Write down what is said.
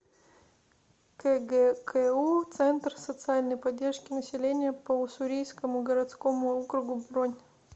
кгку центр социальной поддержки населения по уссурийскому городскому округу бронь